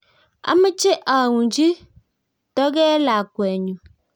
Ameche aunchi toge lakwenyu